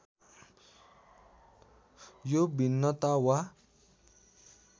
यो भिन्नता वा